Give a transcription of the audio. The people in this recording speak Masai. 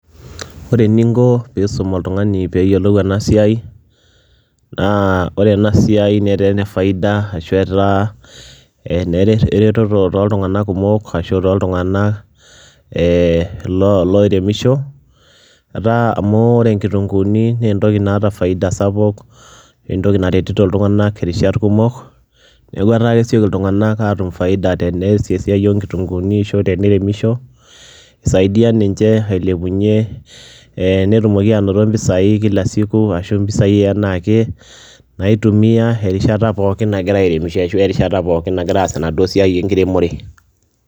Ore eninko piisum oltung'ani peeyiolou ena siai naa ore ena siai netaa ene faida ashu etaa ene re eretoto tooltung'anak kumok ashu tooltung'anak ee loo loiremisho. Etaa amu ore nkitung'uuni nee entoki naata faida sapuk nee entoki naretito iltung'anak irishat kumok, neeku etaa kesioki iltung'anak aatum faida tenees esiai oo nkitung'uuni ashu teniremisho. Isaidia ninje ailepunye ee netumoki aanoto mpisai kila siku ashu mpisai enaake naitumia erishata pookin nagira airemisho ashu erishata pookin nagiraa aas enaduo sia enkiremore.